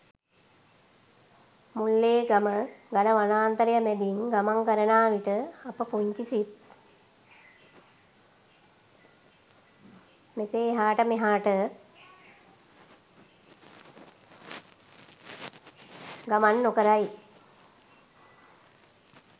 මුල්ලේගම ඝන වනාන්තරය මැදින් ගමන් කරනා විට අපේ පුංචි සිත් මෙසේ එහාට මෙහොට ගමන් නොකරයි.